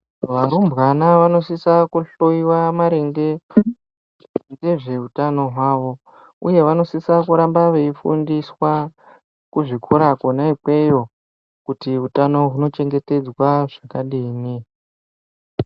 Varumbwana vanosisa kuhloyiwa maringe ngezveutano hwavo uye vanosisa kuramba veifundiswa kuzvikora kona ikweyo kuti hutano huno chengetedzwa zvakadini.